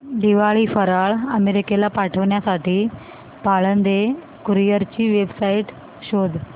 दिवाळी फराळ अमेरिकेला पाठविण्यासाठी पाळंदे कुरिअर ची वेबसाइट शोध